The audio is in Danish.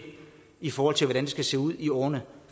i forhold til hvordan det skal se ud i årene